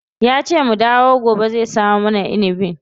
Yace mu dawo gobe zai samo mana inibin.